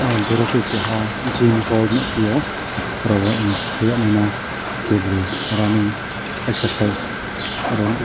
em borok ke kaha gym hall nogpio oro ink kayane ma keboroi orani kaisa size oro nogo.